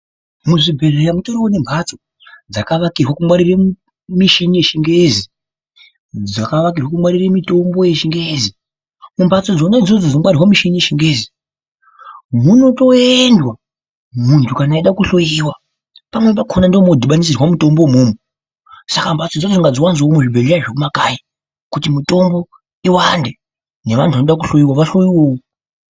Muzvibhedhlera mutoriwo nembatso dzakavakirwe kungwarire mishini yechingezi , dzakavakirwe kungwarire mitombo yechingezi. Mumbatso dzona idzodzo dzinongwarirwe michini yechingezi munotooendwa muntu kana eida kuhloiwa pamweni pakona ndimo munodhibanisirwa mutombo umomo saka mbatso idzona ngadziwanzwewo muzvibhedhlera zvemumakanyi kuti iwande nevanhu vanoda kuhloiwawo vahloiwowo.